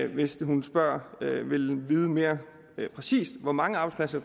hvis hun spørger og vil vide mere præcist hvor mange arbejdspladser